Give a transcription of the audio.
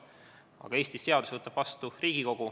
Aga Eestis võtab seadusi vastu Riigikogu.